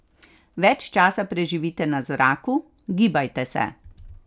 Več časa preživite na zraku, gibajte se.